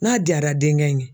N'a diyara denkɛ in ye